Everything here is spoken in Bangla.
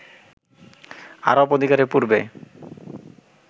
আরব অধিকারের পূর্বে